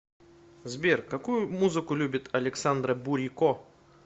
сбер какую музыку любит александра бурико